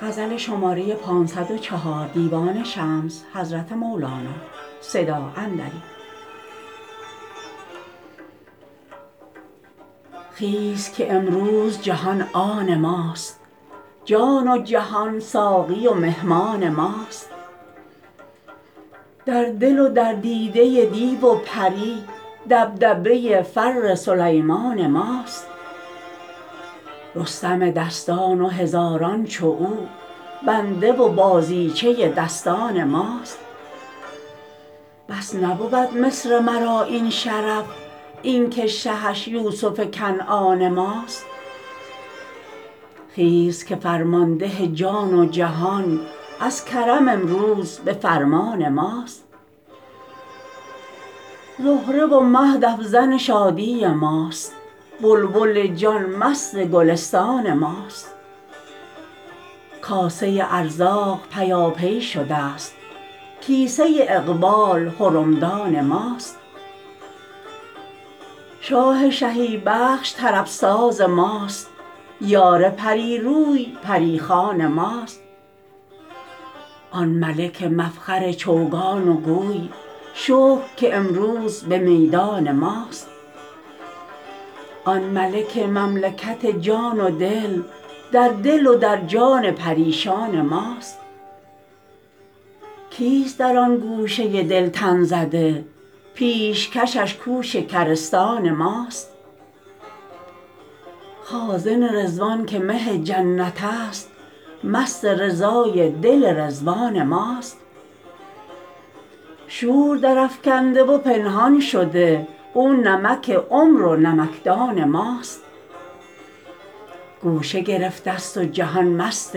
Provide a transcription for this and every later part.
خیز که امروز جهان آن ماست جان و جهان ساقی و مهمان ماست در دل و در دیده دیو و پری دبدبه فر سلیمان ماست رستم دستان و هزاران چو او بنده و بازیچه دستان ماست بس نبود مصر مرا این شرف این که شهش یوسف کنعان ماست خیز که فرمان ده جان و جهان از کرم امروز به فرمان ماست زهره و مه دف زن شادی ماست بلبل جان مست گلستان ماست کاسه ارزاق پیاپی شده ست کیسه اقبال حرمدان ماست شاه شهی بخش طرب ساز ماست یار پری روی پری خوان ماست آن ملک مفخر چوگان و گوی شکر که امروز به میدان ماست آن ملک مملکت جان و دل در دل و در جان پریشان ماست کیست در آن گوشه ی دل تن زده پیش کشش کو شکرستان ماست خازن رضوان که مه جنت ست مست رضای دل رضوان ماست شور درافکنده و پنهان شده او نمک عمر و نمکدان ماست گوشه گرفتست و جهان مست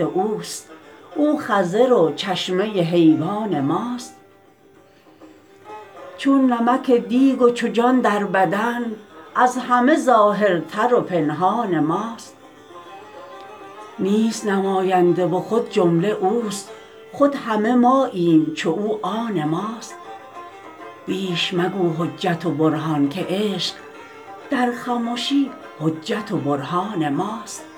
اوست او خضر و چشمه حیوان ماست چون نمک دیگ و چو جان در بدن از همه ظاهرتر و پنهان ماست نیست نماینده و خود جمله اوست خود همه ماییم چو او آن ماست بیش مگو حجت و برهان که عشق در خمشی حجت و برهان ماست